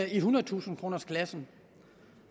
i ethundredetusind kronersklassen